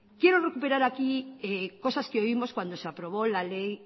quiero recuperar aquí cosas que oímos cuando se aprobó la ley